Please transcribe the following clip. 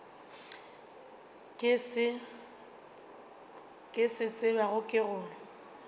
ke se tsebago ke gore